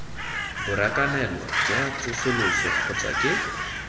borakanelo jwa tsosoloso kgotsa ke